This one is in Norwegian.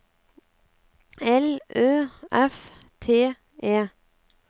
L Ø F T E